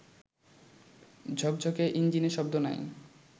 ঝকঝকে ইঞ্জিনে শব্দ নাই